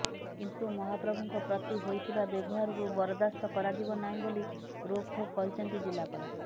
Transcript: କିନ୍ତୁ ମହାପ୍ରଭୁଙ୍କ ପ୍ରତି ହୋଇଥିବା ବ୍ୟବହାରକୁ ବରଦାସ୍ତ କରାଯିବ ନାହିଁ ବୋଲି ରୋକଠୋକ କହିଛନ୍ତି ଜିଲ୍ଲାପାଳ